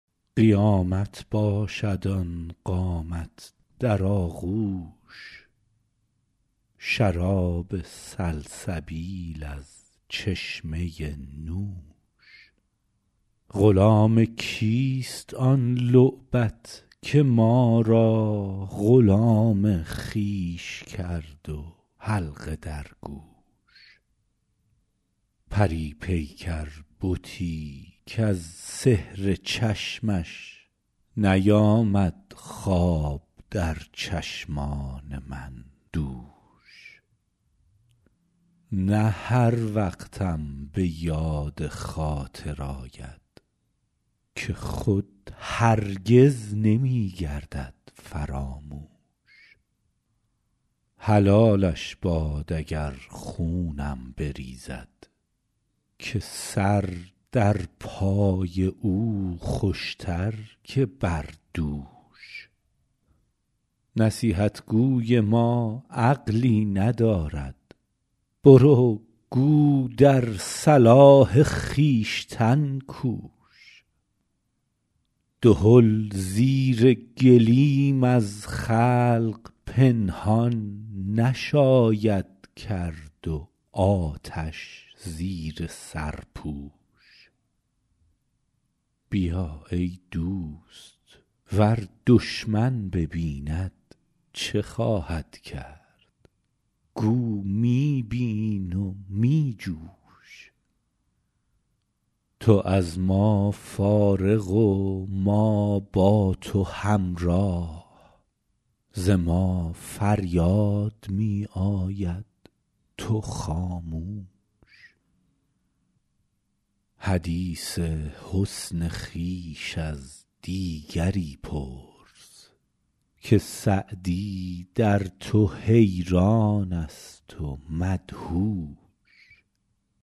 قیامت باشد آن قامت در آغوش شراب سلسبیل از چشمه نوش غلام کیست آن لعبت که ما را غلام خویش کرد و حلقه در گوش پری پیکر بتی کز سحر چشمش نیامد خواب در چشمان من دوش نه هر وقتم به یاد خاطر آید که خود هرگز نمی گردد فراموش حلالش باد اگر خونم بریزد که سر در پای او خوش تر که بر دوش نصیحت گوی ما عقلی ندارد برو گو در صلاح خویشتن کوش دهل زیر گلیم از خلق پنهان نشاید کرد و آتش زیر سرپوش بیا ای دوست ور دشمن ببیند چه خواهد کرد گو می بین و می جوش تو از ما فارغ و ما با تو همراه ز ما فریاد می آید تو خاموش حدیث حسن خویش از دیگری پرس که سعدی در تو حیران است و مدهوش